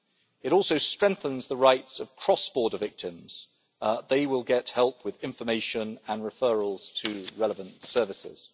It also strengthens the rights of cross border victims, who will get help with information and referrals to relevant services.